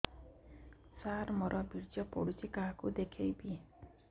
ସାର ମୋର ବୀର୍ଯ୍ୟ ପଢ଼ୁଛି କାହାକୁ ଦେଖେଇବି